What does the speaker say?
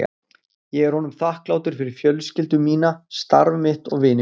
Ég er honum þakklátur fyrir fjölskyldu mína, starf mitt og vini mína.